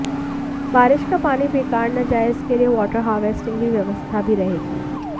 बारिश का पानी बेकार न जाए इसके लिए वाटर हार्वेस्टिंग की व्यवस्था भी रहेगी